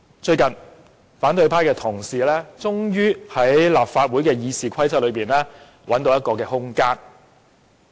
最近，反對派同事終於在立法會《議事規則》內找到空間。